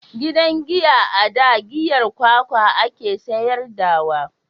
Gidan giya a da giyar kwakwa a ke sayar da wa